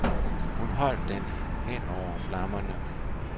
Hun holdt den hen over flammerne.